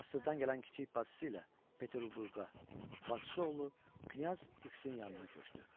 Monastırdan gələn kiçik bacısı ilə Peterburqa bacısı oğlu Knyaz X-in yanına köçdü.